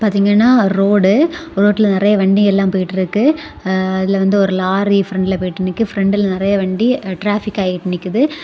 இங்குன்ன road ரோட்டில நறைய வண்டியெல்லாம் போயிட்ருக்கு ஆ அதுல வந்து ஒரு லாரி பிரண்ட்ல போய்ட்டு நிக்கு பிரண்ட்ல நறைய வண்டி டிராபிக்காயி நிக்குது.